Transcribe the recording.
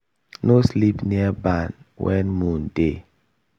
no sleep near barn when moon dey.